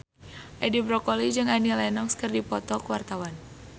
Edi Brokoli jeung Annie Lenox keur dipoto ku wartawan